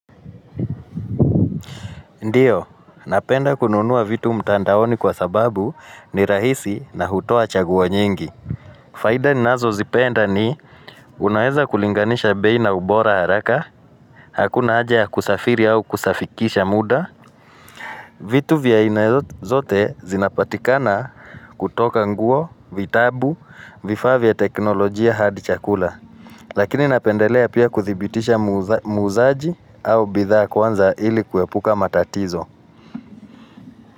Ndiyo, napenda kununua vitu mtandaoni kwa sababu ni rahisi na hutoa chaguo nyingi. Faida ninazo zipenda ni unaeza kulinganisha bei na ubora haraka, hakuna haja ya kusafiri au kusafikisha muda. Vitu vya aina zote zinapatikana kutoka nguo, vitabu, vifaa vya teknolojia hadi chakula. Lakini napendelea pia kuthibitisha muuzaji au bidhaa kwanza ili kuepuka matatizo.